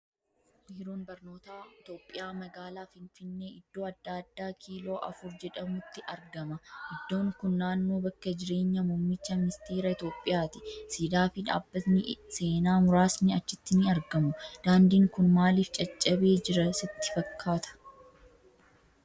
Biiroon Barnoota Itoophiyaa magaalaa Finfinnee, iddoo addaa kiiloo afur jedhamutti argama. Iddoon kun naannoo bakka jireenya Muummicha ministeera Itoophiyaa ti. Siidaa fi dhaabbatni seenaa murasni achitti ni argamu. Daandiin kun maaliif caccabee jira sitti fakkaata?